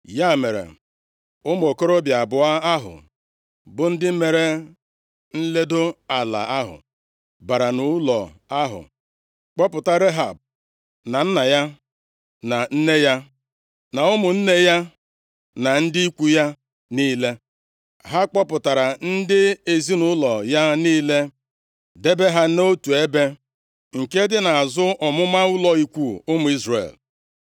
Ya mere, ụmụ okorobịa abụọ ahụ bụ ndị mere nledo ala ahụ, bara nʼụlọ ahụ, kpọpụta Rehab na nna ya na nne ya na ụmụnne ya na ndị ikwu ya niile. Ha kpọpụtara ndị ezinaụlọ ya niile debe ha nʼotu ebe nke dị nʼazụ ọmụma ụlọ ikwu ụmụ Izrel.